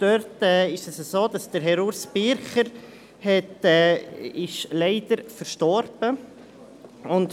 Dort ist es so, dass Herr Urs Bircher leider verstorben ist.